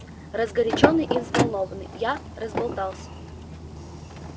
разгорячённый и взволнованный я разболтался